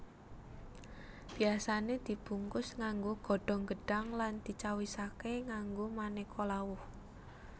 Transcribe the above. Biyasane dibungkus nganggo godhong gedhang lan dicawisake nganggo maneka lawuh